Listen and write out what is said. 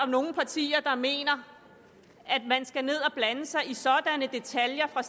nogen partier der mener at man skal ned og blande sig i sådanne detaljer fra